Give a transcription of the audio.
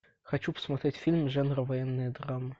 хочу посмотреть фильм жанра военная драма